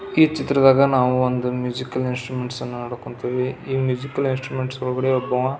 ಈ ಚಿತ್ರದಾಗ ನಾವು ಮ್ಯೂಸಿಕಲ್ ಇನ್ಸ್ಟ್ರುಮನೆಟ್ ಅನ್ನ ನೋಡಕ್ ಹೊಂಥಿವಿ ಈ ಮ್ಯೂಸಿಕಲ್ ಇನ್ಸ್ಟ್ರುಮೆಂಟ್ ಒಳಗಡೆ ಒಬ್ಬ ಆವಾ --